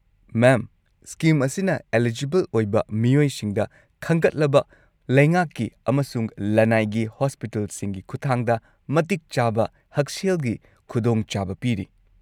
ꯃꯦꯝ, scheme ꯑꯁꯤꯅ eligible ꯑꯣꯏꯕ ꯃꯤꯑꯣꯏꯁꯤꯡꯗ ꯈꯟꯒꯠꯂꯕ ꯂꯩꯉꯥꯛꯀꯤ ꯑꯃꯁꯨꯡ ꯂꯅꯥꯏꯒꯤ ꯍꯣꯁꯄꯤꯇꯥꯜꯁꯤꯡꯒꯤ ꯈꯨꯠꯊꯥꯡꯗ ꯃꯇꯤꯛ ꯆꯥꯕ ꯍꯛꯁꯦꯜꯒꯤ ꯈꯨꯗꯣꯡꯆꯥꯕ ꯄꯤꯔꯤ꯫